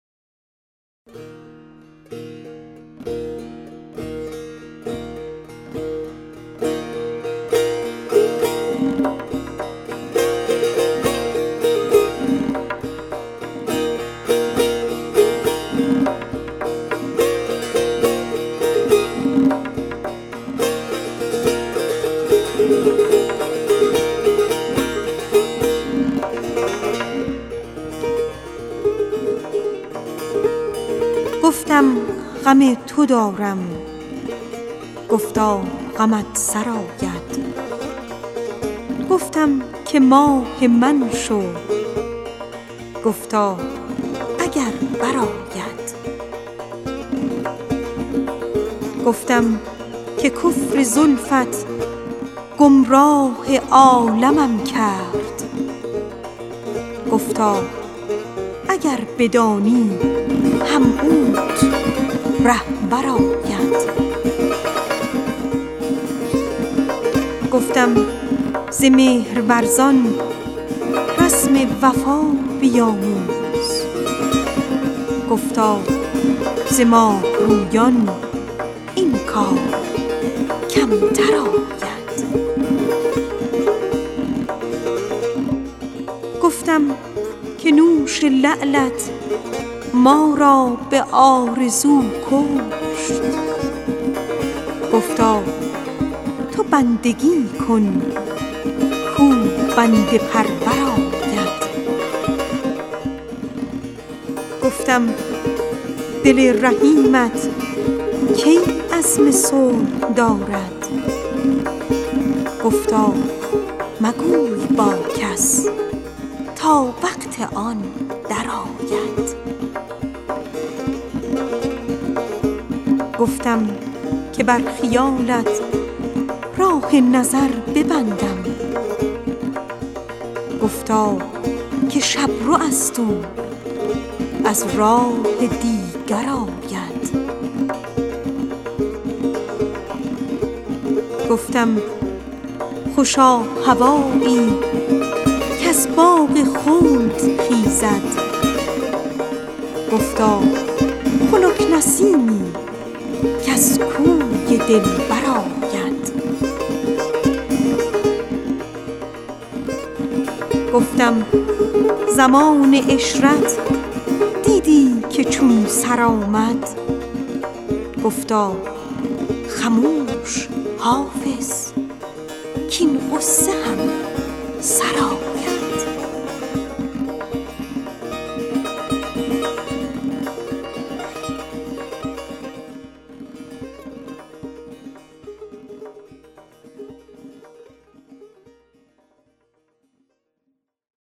گفتم غم تو دارم گفتا غمت سرآید گفتم که ماه من شو گفتا اگر برآید گفتم ز مهرورزان رسم وفا بیاموز گفتا ز خوب رویان این کار کمتر آید گفتم که بر خیالت راه نظر ببندم گفتا که شب رو است او از راه دیگر آید گفتم که بوی زلفت گمراه عالمم کرد گفتا اگر بدانی هم اوت رهبر آید گفتم خوشا هوایی کز باد صبح خیزد گفتا خنک نسیمی کز کوی دلبر آید گفتم که نوش لعلت ما را به آرزو کشت گفتا تو بندگی کن کاو بنده پرور آید گفتم دل رحیمت کی عزم صلح دارد گفتا مگوی با کس تا وقت آن درآید گفتم زمان عشرت دیدی که چون سر آمد گفتا خموش حافظ کـاین غصه هم سر آید